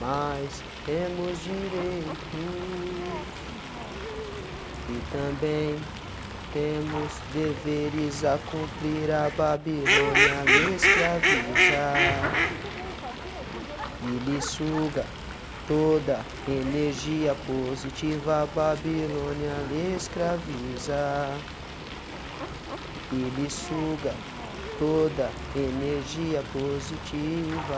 mas temos direitos e também temos deveres a cumprir a babilônia lhe escraviza e lhe suga toda energia positiva a babilônia lhe escraviza e lhe suga toda energia positiva